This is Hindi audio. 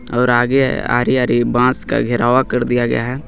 और आगे आरी आरी बांस का घेरावा कर दिया गया है.